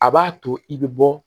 A b'a to i bɛ bɔ